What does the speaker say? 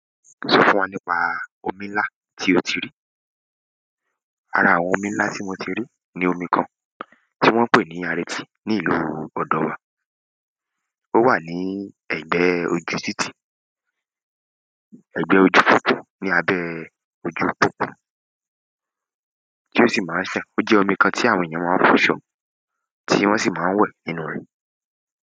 Sọ fún wa nípa omi ńlá tí o ti rí. Ara àwọn omi ńlá tí mo ti rí ni omi kan tí wọ́n ń pè ní Areti ní ìlú ọ̀dọ wa. Ó wà ní ẹ̀gbẹ́ ojú títì, ẹ̀gbẹ́ ojú títí ní abẹ́ ojú pópó tí ó sì máa ń ṣàn. Ó jẹ́ omi kan tí àwọn èèyàn máa ń fọṣọ tí wọ́n sì máa ń wẹ̀ nínú rẹ̀.